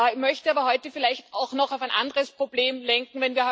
Ich möchte aber heute vielleicht auch noch auf ein anderes Problem lenken.